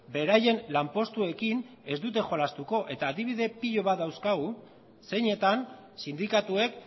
beraien lanpostuekin ez dute jolastuko eta adibide pilo bat dauzkagu zeinetan sindikatuek